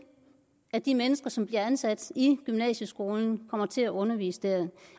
at de mennesker som bliver ansat i gymnasieskolen kommer til at undervise der